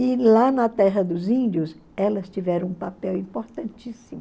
E lá na terra dos índios, elas tiveram um papel importantíssimo.